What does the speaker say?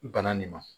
Bana nin ma